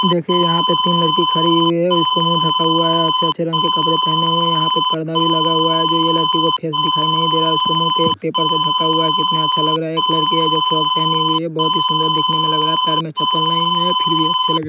देखिए यहां पे तीन लड़की खड़ी हुई है उसको मुंह ढका हुआ है अच्छे अच्छे रंग के कपड़े पहने हुए यहां पे पर्दा भी लगा हुआ है जो ये लड़की को फेस दिखाई नहीं दे रहा है उसको मुंह के पेपर से ढका हुआ है कितना अच्छा लग रहा है एक लड़की है जो फ्रॉक पहनी हुई है बहोत ही सुंदर दिखने में लग रहा है पैर में चप्पल नहीं है फिर भी अच्छी लग--